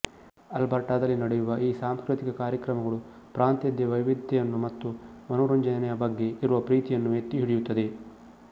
ಆಲ್ಬರ್ಟಾದಲ್ಲಿ ನಡೆಯುವ ಈ ಸಾಂಸ್ಕೃತಿಕ ಕಾರ್ಯಕ್ರಮಗಳು ಪ್ರಾಂತದ ವೈವಿಧ್ಯತೆಯನ್ನು ಮತ್ತು ಮನೊರಂಜನೆಯ ಬಗ್ಗೆ ಇರುವ ಪ್ರೀತಿಯನ್ನು ಎತ್ತಿಹಿಡಿಯುತ್ತದೆ